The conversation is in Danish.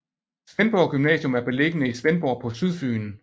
Svendborg Gymnasium er beliggende i Svendborg på Sydfyn